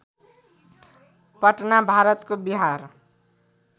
पटना भारतको बिहार